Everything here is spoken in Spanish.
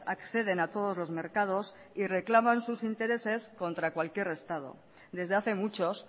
acceden a todos los mercados y reclaman sus intereses contra cualquier estado desde hace muchos